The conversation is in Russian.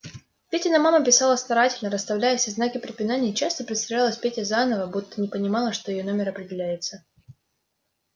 петина мама писала старательно расставляла все знаки препинания и часто представлялась пете заново будто не понимала что её номер определяется